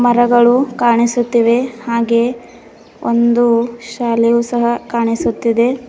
ಮರಗಳು ಕಾಣಿಸುತ್ತಿವೆ ಹಾಗೆ ಒಂದು ಶಾಲೆಯು ಸಹ ಕಾಣಿಸುತ್ತಿದೆ.